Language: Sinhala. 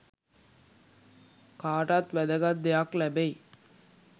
කාටත් වැදගත් දෙයක් ලැබෙයි